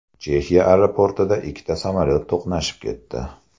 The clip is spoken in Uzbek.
Chexiya aeroportida ikkita samolyot to‘qnashib ketdi.